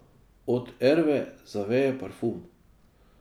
Od Erve zaveje parfum.